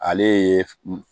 Ale ye